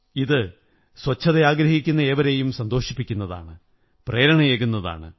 ഇത് സ്വച്ഛത ആഗ്രഹിക്കുന്ന ഏവരെയും സന്തോഷിപ്പിക്കുന്നതാണ് പ്രേരണയേകുന്നതാണ്